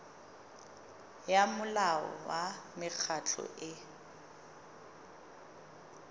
ya molao wa mekgatlho e